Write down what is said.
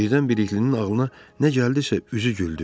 Birdən biriklinin ağlına nə gəldisə üzü güldü.